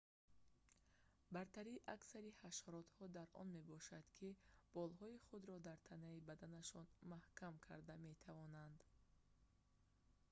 бартарии аксари ҳашаротҳо дар он мебошад ки болҳои худро дар танаи баданашон маҳкам карда метавонанд